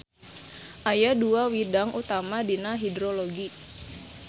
Aya dua widang utama dina hidrologi.